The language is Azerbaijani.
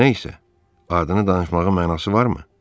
Nə isə, adını danışmağın mənası varmı?